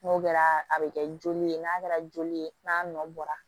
N'o kɛra a bɛ kɛ joli ye n'a kɛra joli ye n'a nɔ bɔra